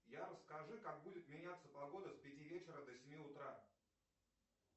скажи как будет меняться погода с пяти вечера до семи утра